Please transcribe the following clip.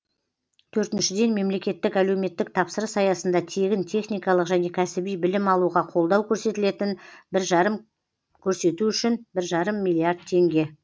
төртіншіден мемлекеттік әлеуметтік тапсырыс аясында тегін техникалық және кәсіби білім алуға қолдау көрсетілетін бір жарым көрсету үшін бір жарым миллиард теңге